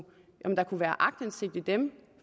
være aktindsigt i dem